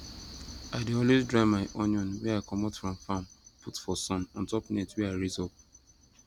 i dey always dry my onion wey i comot from farm put for sun ontop net wey i raise up